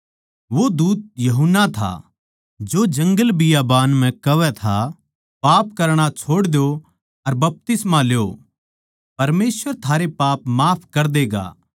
वो दूत यूहन्ना था जो जंगलबियाबान म्ह कहवै था पाप करणा छोड़ द्यो अर बपतिस्मा ल्यो परमेसवर थारे पाप माफ कर देगा